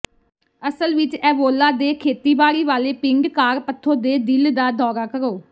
ਅਸਲ ਵਿਚ ਐਵੋਲਾ ਦੇ ਖੇਤੀਬਾੜੀ ਵਾਲੇ ਪਿੰਡ ਕਾਰਪਥੋ ਦੇ ਦਿਲ ਦਾ ਦੌਰਾ ਕਰੋ